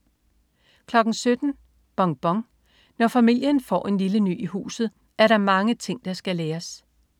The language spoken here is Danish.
17.00 Bonbon. Når familien får en lille ny i huset, er der mange ting, der skal læres